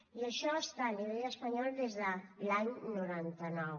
i això està a nivell espanyol des de l’any noranta nou